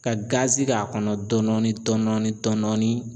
Ka k'a kɔnɔ dɔɔnin dɔɔnin.